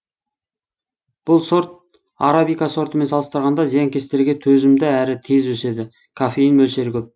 бұл сорт арабика сортымен салыстырғанда зиянкестерге төзімді әрі тез өседі кофеин мөлшері көп